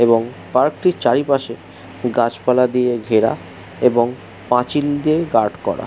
এবং পার্ক টির চারিপাশে গাছপালা দিয়ে ঘেরা। এবং পাঁচিল দিয়ে গার্ড করা।